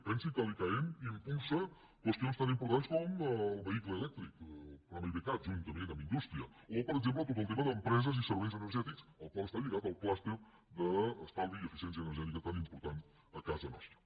pensin que l’icaen impulsa qüestions tan importants com el vehicle elèctric el programa ivecat juntament amb indústria o per exemple tot el tema d’empreses i serveis energètics al qual està lligat el clúster d’estalvi i eficiència energètica tan important a casa nostra